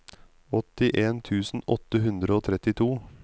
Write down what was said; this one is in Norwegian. åttien tusen åtte hundre og trettito